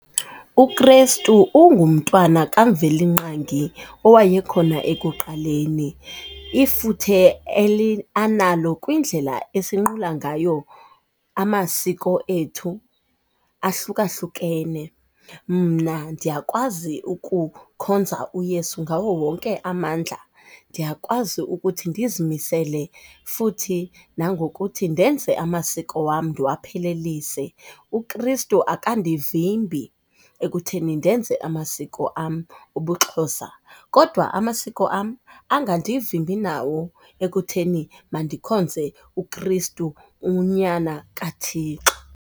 UKristu ungumntwana kaMvelinqangi owayekhona ekuqaleni. Ifuthe analo kwindlela esinqula ngayo amasiko ethu ahlukahlukene, mna ndiyakwazi ukukhonza uYesu ngawo wonke amandla, ndiyakwazi ukuthi ndizimisele futhi nangokuthi ndenze amasiko wam ndiwaphelelise. UKristu akandivimbi ekutheni ndenze amasiko am obuXhosa, kodwa amasiko am angandivimbi nawo ekutheni mandikhonze uKristu unyana kaThixo.